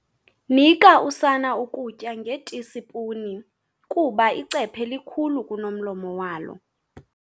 Nika usana ukutya ngetisipuni kuba icephe likhulu kunomlomo walo.